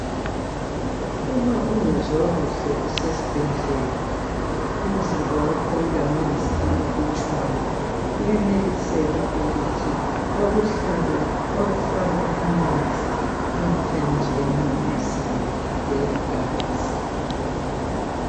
Uma ungezwa kuhle usesibhedlela. Umzimba wakho ulamanzi amalutshwana. Kuyeneliseka ukuthi bakuhlabe. Bakufake amanzi, emthanjeni yomzimba, eyegazi.